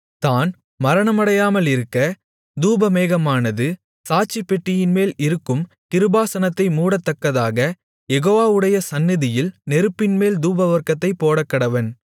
தான் மரணமடையாமலிருக்க தூபமேகமானது சாட்சிப்பெட்டியின்மேல் இருக்கும் கிருபாசனத்தை மூடத்தக்கதாக யெகோவாவுவுடைய சந்நிதியில் நெருப்பின்மேல் தூபவர்க்கத்தைப் போடக்கடவன்